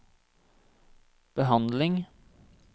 behandling